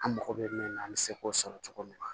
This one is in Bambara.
An mago bɛ min na an bɛ se k'o sɔrɔ cogo min na